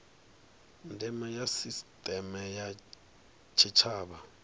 ndeme ya sisiteme ya tshitshavha